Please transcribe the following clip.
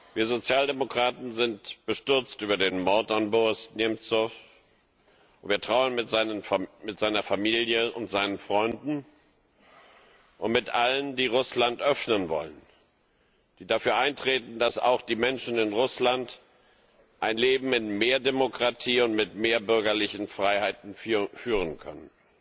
Wir Sozialdemokraten sind bestürzt über den Mord an Boris Nemzow, und wir trauern mit seiner Familie und seinen Freunden und mit allen, die Russland öffnen wollen und dafür eintreten, dass auch die Menschen in Russland ein Leben in mehr Demokratie und mit mehr bürgerlichen Freiheiten führen können.